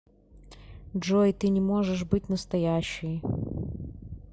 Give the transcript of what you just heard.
джой ты не можешь быть настоящей